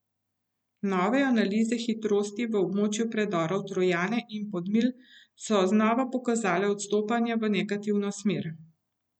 Nove analize hitrosti v območju predorov Trojane in Podmilj so znova pokazale odstopanja v negativno smer.